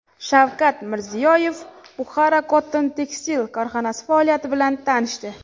Shavkat Mirziyoyev Bukhara Cotton Textile korxonasi faoliyati bilan tanishdi.